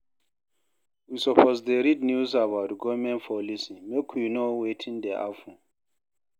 We suppose dey read news about government policy make we know wetin dey happen.